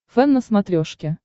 фэн на смотрешке